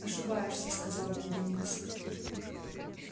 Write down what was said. ошибаешься сказал бедренец